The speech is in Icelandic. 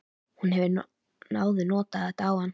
Hún hefur áður notað þetta á hann.